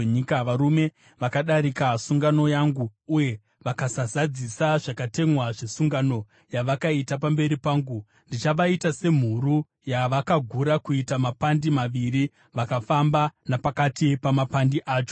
Varume vakadarika sungano yangu uye vakasazadzisa zvakatemwa zvesungano yavakaita pamberi pangu, ndichavaita semhuru yavakagura kuita mapandi maviri vakafamba napakati pamapandi acho.